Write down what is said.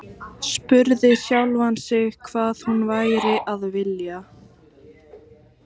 Spurði sjálfan sig hvað hún væri að vilja.